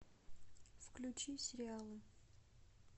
включи сериалы